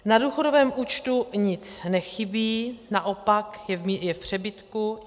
Na důchodovém účtu nic nechybí, naopak, je v přebytku.